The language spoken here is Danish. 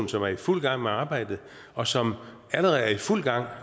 som er i fuld gang med arbejdet og som allerede er i fuld gang